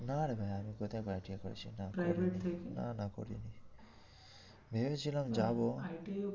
না রে ভাই আমি কোথায় আবার ITI করেছিলাম না না না করিনি ভেবেছিলাম যাবো।